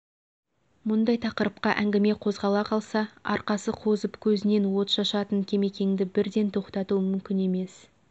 мұндай тақырыпқа әңгіме қозғала қалса арқасы қозып көзінен отшашатын кемекеңді бірден тоқтату мүмкін емес